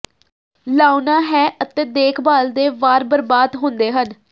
ਲਾਉਣਾ ਹੈ ਅਤੇ ਦੇਖਭਾਲ ਦੇ ਵਾਰ ਬਰਬਾਦ ਹੁੰਦੇ ਹਨ